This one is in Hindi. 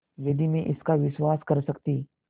यदि मैं इसका विश्वास कर सकती